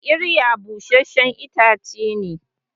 kirya busasshen itace ne